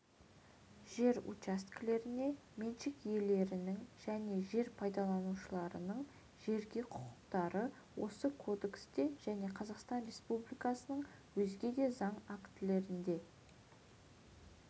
жер учаскелеріне меншік иелерінің және жер пайдаланушылардың жерге құқықтары осы кодексте және қазақстан республикасының өзге де заң актілерінде